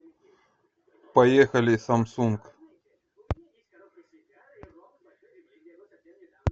поехали самсунг